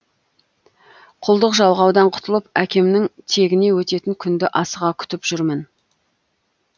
құлдық жалғаудан құтылып әкемнің тегіне өтетін күнді асыға күтіп жүрмін